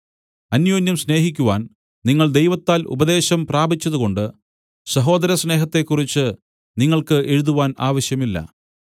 അന്യോന്യം സ്നേഹിക്കുവാൻ നിങ്ങൾ ദൈവത്താൽ ഉപദേശം പ്രാപിച്ചതുകൊണ്ട് സഹോദരസ്നേഹത്തെക്കുറിച്ചു നിങ്ങൾക്ക് എഴുതുവാൻ ആവശ്യമില്ല